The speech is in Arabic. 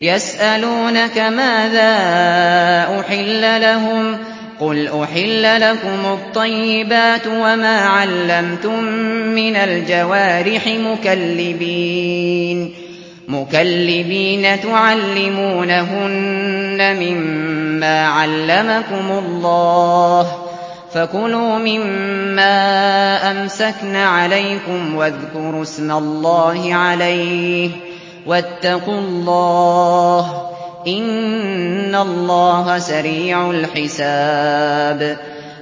يَسْأَلُونَكَ مَاذَا أُحِلَّ لَهُمْ ۖ قُلْ أُحِلَّ لَكُمُ الطَّيِّبَاتُ ۙ وَمَا عَلَّمْتُم مِّنَ الْجَوَارِحِ مُكَلِّبِينَ تُعَلِّمُونَهُنَّ مِمَّا عَلَّمَكُمُ اللَّهُ ۖ فَكُلُوا مِمَّا أَمْسَكْنَ عَلَيْكُمْ وَاذْكُرُوا اسْمَ اللَّهِ عَلَيْهِ ۖ وَاتَّقُوا اللَّهَ ۚ إِنَّ اللَّهَ سَرِيعُ الْحِسَابِ